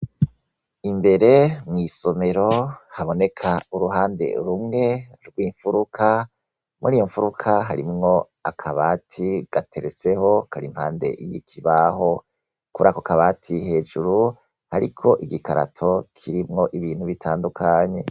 imbere mwisomero haboneka uruhande rumwe rw'imfuruka muri iyo mfuruka harimwo akabati gateretseho karimpande y'ikibaho kurako kabati hejuru ariko igikarato kirimwo ibintu bitandukanye